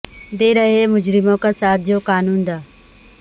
دے رہے ہیں مجرموں کا ساتھ جو قانون داں